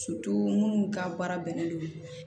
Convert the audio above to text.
minnu ka baara bɛnnen don